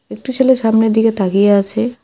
একটি ছেলে সামনের দিকে তাকিয়ে আছে।